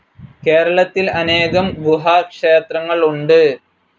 കേരളത്തിൽ അനേകം ഗുഹാ ക്ഷേത്രങ്ങൾ ഉണ്ട്.